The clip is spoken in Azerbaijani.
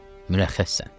Mürəxxəssən.